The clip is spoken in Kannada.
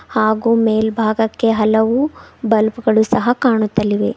ಹಾಗು ಮೆಲ್ಬಾಗಕ್ಕೆ ಹಲವು ಬಲ್ಬ್ ಗಳು ಸಹ ಕಾಣುತ್ತಲಿವೆ.